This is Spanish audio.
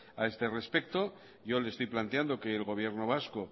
a este respecto yo le estoy planteando que el gobierno vasco